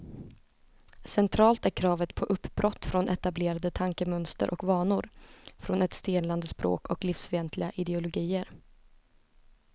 Centralt är kravet på uppbrott från etablerade tankemönster och vanor, från ett stelnande språk och livsfientliga ideologier.